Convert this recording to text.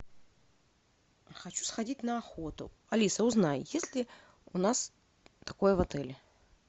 хочу сходить на охоту алиса узнай есть ли у нас такое в отеле